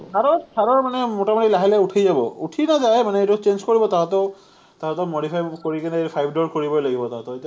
THAR ৰ, THAR ৰ মানে মোটামুটি লাহে লাহে উঠি যাব। উঠি নাযায়, মানে এইটো change কৰিব, তাহাঁতেও, তাহাঁতেও modify কৰি কেনে five door কৰিবয়ে লাগিব তাহাঁতে এতিয়া,